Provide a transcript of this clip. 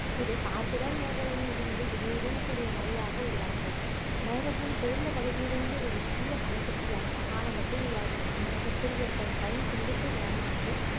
இது இடியுடன் கூடிய மழையாக உருவாகிறது மேகத்தின் குளிர்ந்த பகுதியிலிருந்து ஒரு சிறிய பனிக்கட்டியாக ஆலங்கட்டி உருவாகிறது மேகத்தில் ஏற்படும்